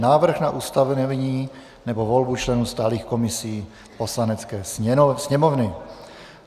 Návrh na ustavení nebo volbu členů stálých komisí Poslanecké sněmovny